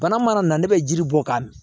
Bana mana na ne bɛ jiri bɔ ka min